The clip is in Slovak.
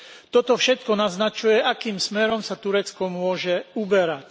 Toto všetko naznačuje, akým smerom sa Turecko môže uberať.